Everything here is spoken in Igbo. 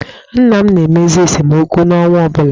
Nna m na-emezi esemokwu n'ọnwa ọ bụla.